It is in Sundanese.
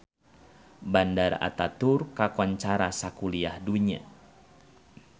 Bandara Ataturk kakoncara sakuliah dunya